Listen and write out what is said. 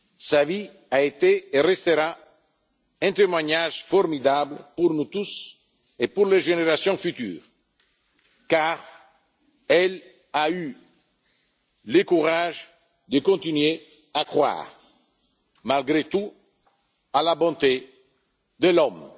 la haine. Sa vie a été et restera un témoignage formidable pour nous tous et pour les générations futures, car Simone Veil a eu le courage de continuer à croire malgré tout à la bonté de